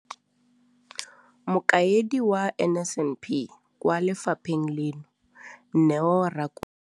Mokaedi wa NSNP kwa lefapheng leno, Neo Rakwena.